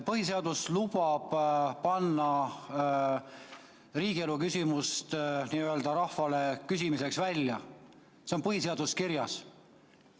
Põhiseadus lubab panna riigielu küsimust n‑ö rahvale küsimiseks välja, see on põhiseaduses kirjas.